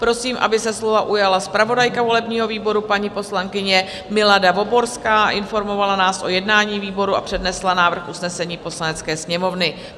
Prosím, aby se slova ujala zpravodajka volebního výboru, paní poslankyně Milada Voborská, informovala nás o jednání výboru a přednesla návrh usnesení Poslanecké sněmovny.